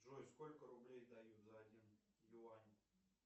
джой сколько рублей дают за один юань